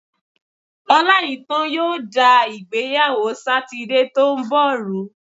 Ọláìítán yóò da ìgbéyàwó Sátidé tó ń bọ̀ rú.